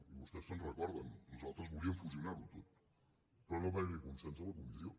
i vostès se’n recorden nosaltres volíem fusionar ho tot però no va haver hi consens a la comissió